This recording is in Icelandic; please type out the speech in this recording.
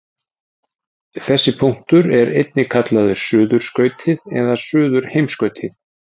þessi punktur er einnig kallaður suðurskautið eða suðurheimskautið